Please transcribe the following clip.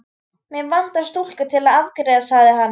Mig vantar stúlku til að afgreiða sagði hann.